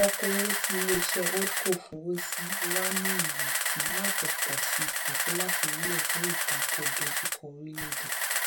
okoòwò tí ilé iṣé holdco fowó sí wà ní ìrètí láti pòsi àti láti wúlò fún ìtako ìdojúkọ orílèèdè